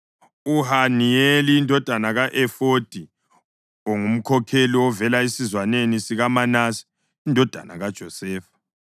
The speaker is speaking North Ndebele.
uHaniyeli indodana ka-Efodi, ongumkhokheli ovela esizwaneni sikaManase indodana kaJosefa;